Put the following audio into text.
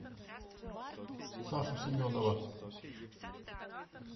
сашу семенова